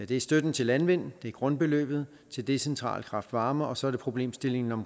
det er støtten til landmænd det er grundbeløbet til decentral kraft varme og så er det problemstillingen